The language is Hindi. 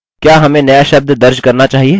क्या हमें नया शब्द दर्ज़ करना चाहिए